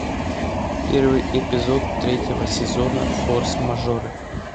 первый эпизод третьего сезона форс мажоры